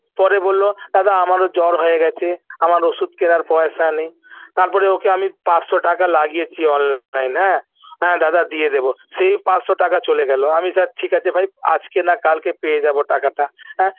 পরে বলল দাদা আমারও জ্বর হয়ে গেছে আমার ওষুধ কেনার পয়সা নেই তারপর ওকে আমি পাঁচশ টাকা লাগিয়েছি online হ্যাঁ হ্যাঁ দাদা দিয়ে দেব সেই পাঁচশ টাকা চলে গেল আমি চাই ঠিক আছে ভাই আজকে না কালকে পেয়ে যাব টাকাটা হ্যাঁ